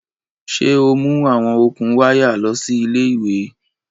Ṣe o mu awọn okun waya lọ si ile-iwe